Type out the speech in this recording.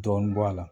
Dɔɔnin bɔ a la